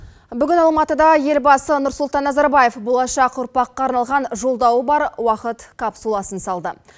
бүгін алматыда елбасы нұрсұлтан назарбаев болашақ ұрпаққа арналған жолдауы бар уақыт капсуласын салды